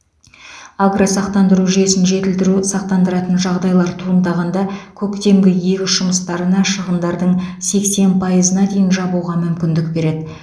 агросақтандыру жүйесін жетілдіру сақтандыратын жағдайлар туындағанда көктемгі егіс жұмыстарына шығындардың сексен пайызына дейін жабуға мүмкіндік береді